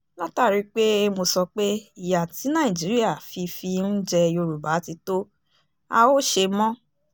látàrí pé mo sọ pé ìyà tí nàìjíríà fi fi ń jẹ yorùbá ti tó a ó ṣe mọ́